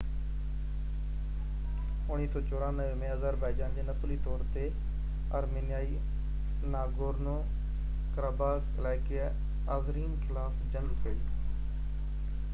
1994 ۾ Azerbaijan جي نسلي طور تي آرمينيائي ناگورنو-ڪراباخ علائقي آذرين خلاف جنگ ڪئي